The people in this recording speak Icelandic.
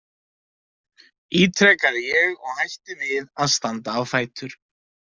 ítrekaði ég og hætti við að standa á fætur.